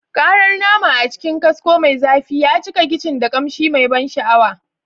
Karar nama a cikin kasko mai zafi ya cika kicin da kamshi mai ban sha'awa.